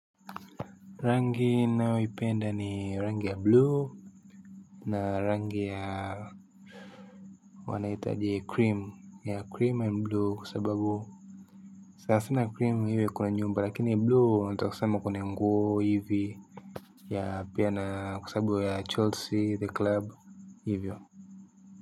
Rangi ninayoipenda ni rangi ya blue na rangi ya wanaitaje cream ya cream and blue kwa sababu sanasana cream iwe kwenye nyumba lakini blue nataka kusema kwenye nguo ivi ya pia na kwa sababu ya chelsea the club iwe.